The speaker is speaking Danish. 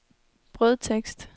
brødtekst